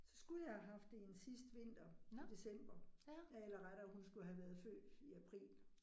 Så skulle jeg have haft 1 sidste vinter, i december eller rettere hun skulle have været født i april